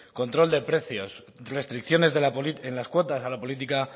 control de precios restricciones en las cuotas a la política